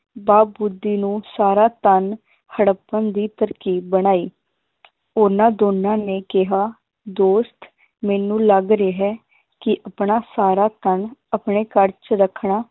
ਬਾ ਬੁੱਧੀ ਨੂੰ ਸਾਰਾ ਧਨ ਹੜੱਪਣ ਦੀ ਤਰਕੀਬ ਬਣਾਈ ਉਹਨਾਂ ਦੋਨਾਂ ਨੇ ਕਿਹਾ ਦੋਸਤ ਮੈਨੂੰ ਲੱਗ ਰਿਹਾ ਹੈ, ਕਿ ਆਪਣਾ ਸਾਰਾ ਧਨ ਆਪਣੇ ਘਰ ਚ ਰੱਖਣਾ